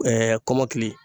kɔmɔkili